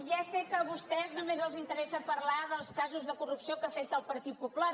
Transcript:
ja sé que a vostès només els interessa parlar dels casos de corrupció que afecten el partit popular